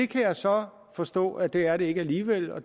kan så forstå at det er det ikke alligevel og